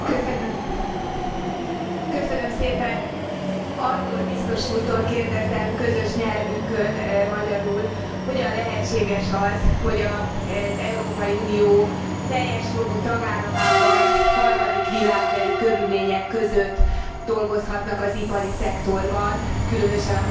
Andor biztos úrtól kérdezem közös nyelvünkön, magyarul, hogyan lehetséges az, hogy az Európai Unió teljes jogú tagállamában harmadik világbeli körülmények között dolgozhatnak az ipari szektorban, különösen a multinacionális cégeknél, illetve a külföldi tulajdonú cégeknél.